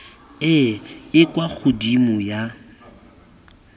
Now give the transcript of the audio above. e e kwa godimo ya